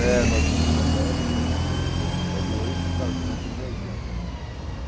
É, nós nos formamos em setenta e oito, casamos em oitenta